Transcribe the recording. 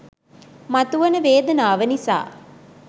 මතුවන වේදනාව නිසා